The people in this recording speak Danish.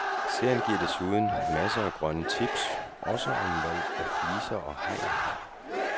Serien giver desuden masser af grønne tips, også om valg af fliser og hegn.